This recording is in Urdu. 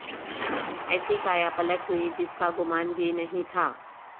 ایسی کایا پلٹ ہوئی جس کا گمان بھی نہیں تھا